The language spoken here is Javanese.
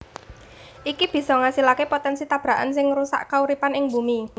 Iki bisa ngasilaké potènsi tabrakan sing ngrusak kauripan ing Bumi